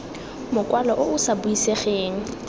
mokwalo o o sa buisegeng